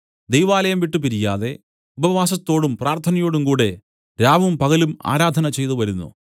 ദൈവാലയം വിട്ടുപിരിയാതെ ഉപവാസത്തോടും പ്രാർത്ഥനയോടും കൂടെ രാവും പകലും ആരാധന ചെയ്തുവരുന്നു